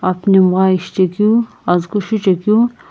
aphi nhemgha ishi chekeu azü kuchuchekeu.